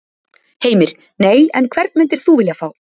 Heimir: Nei, en hvern myndir þú vilja fá?